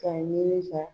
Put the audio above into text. K'a ɲini ka